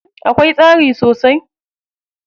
Akwai tsari sosai?